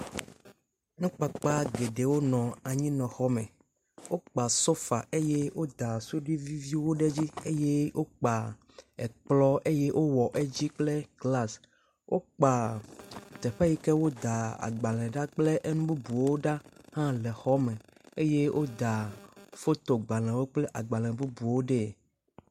Nukpakpa geɖewo nɔ anyinɔxɔme. wokpa sofa eye woda suɖi viviviwo ɖe edzi. Eye wokpa ekplɔ̃ eye wowɔ edzi kple glasi wokpa teƒe yi ke woda agbalẽ ɖa kple nu bubuwo ɖa hã le xɔ me eye woda fotogbalẽwo kple agbalẽ bubuwo ɖee.